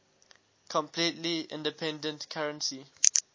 completely independent currency